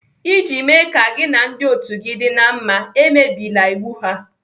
Iji mee ka gị na ndị otu gị dị na mma, emebila iwu ha.